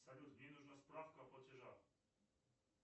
салют мне нужна справка о платежах